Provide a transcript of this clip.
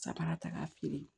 Sabanan ta k'a feere